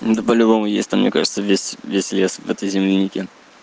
да по-любому есть там мне кажется весь весь лес в этой землянике